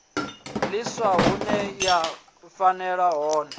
ḽiswa hune ya fhelela hone